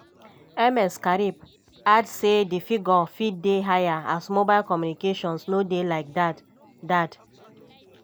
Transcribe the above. ms karib add say di figure fit dey higher as mobile communications no dey like dat. dat.